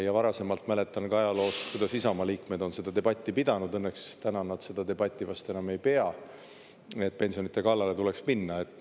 Ja varasemalt mäletan ka ajaloost, kuidas Isamaa liikmed on seda debatti pidanud, õnneks täna nad seda debatti vast enam ei pea, et pensionide kallale tuleks minna.